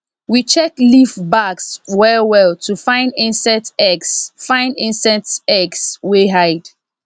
we check leaf backs well well to find insects eggs find insects eggs wey hide